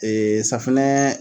safunɛ